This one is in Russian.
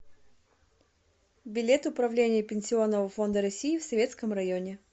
билет управление пенсионного фонда россии в советском районе